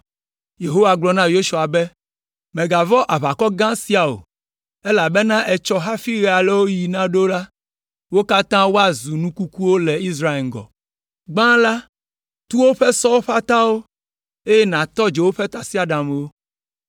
Yehowa gblɔ na Yosua be, “Mègavɔ̃ aʋakɔ gã sia o, elabena etsɔ hafi ɣelawoɣi naɖo la, wo katã woazu nu kukuwo le Israel ŋgɔ! Gbã la, tu woƒe sɔwo ƒe atawo, eye nàtɔ dzo woƒe tasiaɖamwo!”